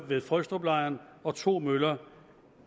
ved frøstruplejren og to møller